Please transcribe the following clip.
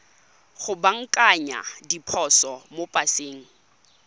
go baakanya diphoso mo paseng